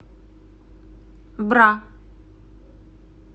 бра